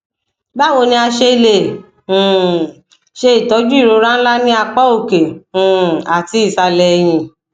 bawo ni a se le um ṣe itọju irora nla ni apa oke um ati isalẹ ẹhin